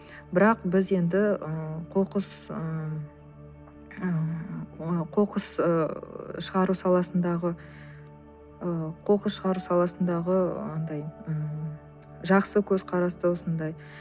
бірақ біз енді ы қоқыс ыыы қоқыс ы шығару саласындағы ы қоқыс шығару саласындағы андай ммм жақсы көзқарасты осындай